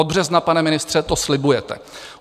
Od března, pane ministře, to slibujete.